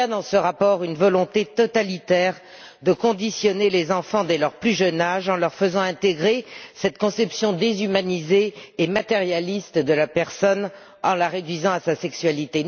Il y a dans ce rapport une volonté totalitaire de conditionner les enfants dès leur plus jeune âge, en leur faisant intégrer cette conception déshumanisée et matérialiste de la personne en la réduisant à sa sexualité.